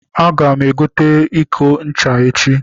Aga m egote iko ncha echi.